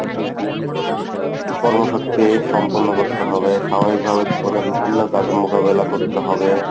কর্মসূত্রে সম্পন্ন করতে হবে স্বাভাবিকভাবে জীবনের বিভিন্ন কাজে মোকাবিলা করতে হবে।